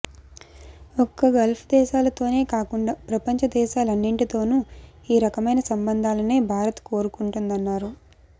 ఒక్క గల్ఫ్ దేశాలతోనే కాకుండా ప్రపంచ దేశాలు అన్నింటితోనూ ఈ రకమైన సంబంధాలనే భారత్ కోరుకుంటోందన్నారు